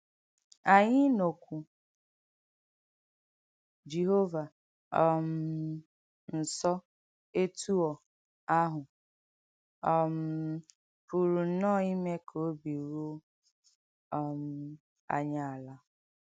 Ányị ịnọ́kwù Jèhóvà um nsọ̀ ètúọ̀ áhụ̀ um pùrù nnọ́ọ̀ ìmè kà òbì rùọ́ um ányị álà!